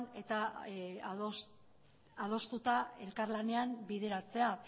eta adostuta elkarlanean bideratzea